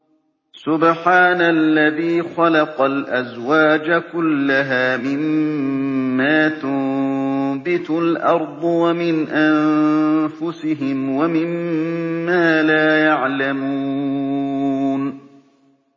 سُبْحَانَ الَّذِي خَلَقَ الْأَزْوَاجَ كُلَّهَا مِمَّا تُنبِتُ الْأَرْضُ وَمِنْ أَنفُسِهِمْ وَمِمَّا لَا يَعْلَمُونَ